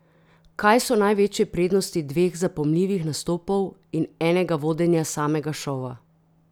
Kaj so največje prednosti dveh zapomljivih nastopov in enega vodenja samega šova?